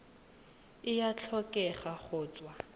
e a tlhokega go tswa